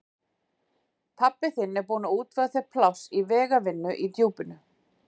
Pabbi þinn er búinn að útvega þér pláss í vegavinnu í Djúpinu.